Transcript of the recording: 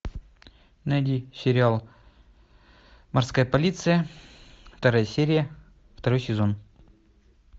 найди сериал морская полиция вторая серия второй сезон